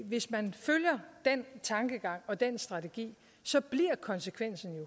hvis man følger den tankegang og den strategi bliver konsekvensen jo